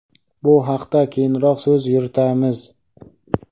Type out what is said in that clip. Bu haqda keyinroq so‘z yuritamiz.